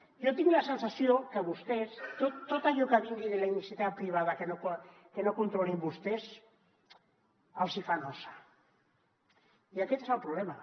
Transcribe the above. jo tinc la sensació que a vostès tot allò que vingui de la iniciativa privada que no controlin vostès els hi fa nosa i aquest és el problema